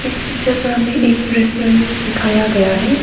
इस पिक्चर पर हमें एक रेस्टोरेंट दिखाया गया हैं।